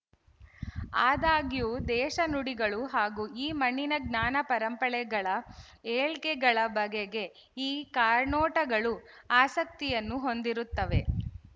ಆದಾಗ್ಯೂ ದೇಶಿ ನುಡಿಗಳು ಹಾಗೂ ಈ ಮಣ್ಣಿನ ಜ್ಞಾನ ಪರಂಪರೆಗಳ ಏಳ್ಗೆಗಳ ಬಗೆಗೆ ಈ ಕಾರ್ನೋಟಗಳು ಆಸಕ್ತಿಯನ್ನು ಹೊಂದಿರುತ್ತವೆ